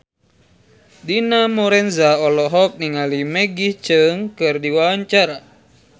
Dina Lorenza olohok ningali Maggie Cheung keur diwawancara